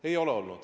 Ei ole olnud.